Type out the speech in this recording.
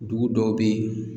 Dugu dɔw be yen